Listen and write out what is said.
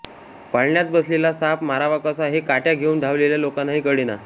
पाळण्यात बसलेला साप मारावा कसा हे काठ्या घेऊन धावलेल्या लोकांनाही कळेना